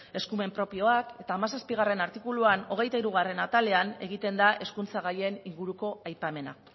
eskumen propioak eta hamazazpi artikuluan hogeita hirugarrena atalean egiten da hezkuntza gaien inguruko aipamena